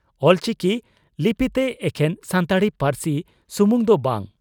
ᱚᱞᱪᱤᱠᱤ ᱞᱤᱯᱤᱛᱮ ᱮᱠᱷᱮᱱ ᱥᱟᱱᱛᱟᱲᱤ ᱯᱟᱹᱨᱥᱤ ᱥᱩᱢᱩᱝ ᱫᱚ ᱵᱟᱝ